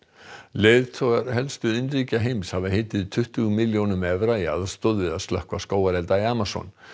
leiðtogar helstu iðnríkja heims hafa heitið tuttugu milljónum evra í aðstoð við að slökkva skógarelda í Amazon